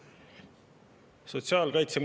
Siim Pohlak, palun!